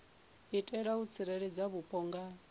itela u tsireledza vhupo nga